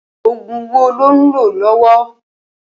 Ógún wó ló n ló lọ̀wọ̀?